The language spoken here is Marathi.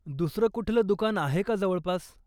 दुसरं कुठलं दुकान आहे का जवळपास?